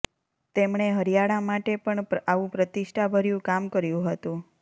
તેમણે હરિયાણા માટે પણ આવું પ્રતિષ્ઠાભર્યું કામ કર્યું હતું